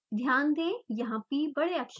ध्यान दें यहाँ p बड़े अक्षर में है